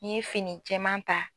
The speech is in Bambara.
N'i ye fini jɛman ta